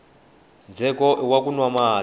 ndzheko iwa ku nwa mati